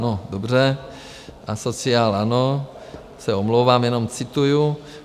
- No dobře, asociál ano, se omlouvám, jenom cituji.